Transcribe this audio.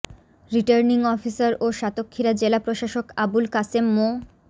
returning officer ও সাতক্ষীরা জেলা প্রশাসক আবুল কাশেম মো